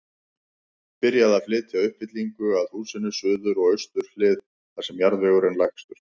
Byrjað að flytja uppfyllingu að húsinu, suður og austur hlið, þar sem jarðvegur er lægstur.